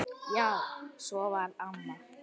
Já, svona var amma.